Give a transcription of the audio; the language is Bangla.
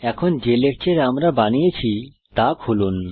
এখন যে লেকচর আমরা বানিয়েছি তা খুলুন